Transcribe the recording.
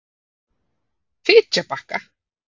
Fitjabakka